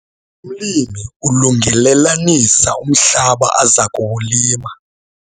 Umlimi ulungelelanisa umhlaba aza kuwulima.